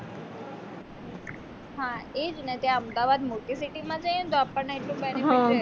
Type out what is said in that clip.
હા એ જ ને ત્યાં અમદાવાદ મોટી city માં જઈને તો આપણ એટલું